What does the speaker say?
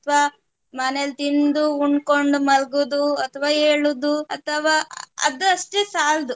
ಅಥವಾ ಮನೇಲ್ ತಿಂದು ಉಂಡ್ಕೊಂಡ್ ಮಲ್ಗುದು ಅಥವಾ ಏಳುದು ಅಥವಾ ಅದು ಅಷ್ಟೆ ಸಾಲ್ದು